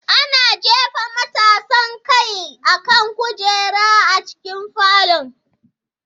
Ana jefa matasan kai akan kujera a cikin falon.